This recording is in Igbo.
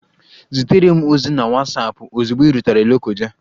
Zitere m ozi na Watsapụ ozugbo ị rutere Lokoja!